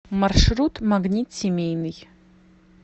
маршрут магнит семейный